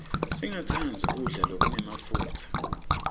singatsandzi kudla lokunemafutsa